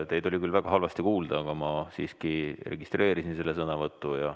Teid oli küll väga halvasti kuulda, aga ma siiski registreerisin selle sõnavõtu.